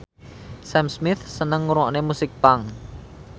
Sam Smith seneng ngrungokne musik punk